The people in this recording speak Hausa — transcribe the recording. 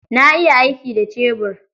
Na iya aiki da cebur.